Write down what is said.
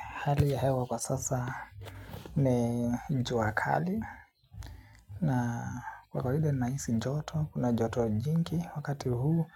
Hali ya hewa kwa sasa ni jua kali. Na kwa kawaida nahisi joto kuna joto jingi wakati huu.